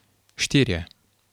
Štirje.